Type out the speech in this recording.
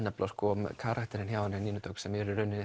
karakterinn hjá Nínu Dögg sem